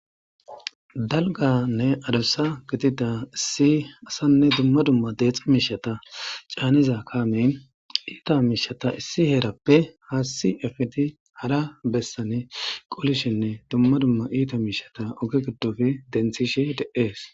dalganne adussa gitida issi asanne dumma dumma deexa miishata caaniza kaame iita miishata issi heerappe haasi efidi hara bessane qulishinne dumma dumma iita miishata oge giddofe denthishe de7ees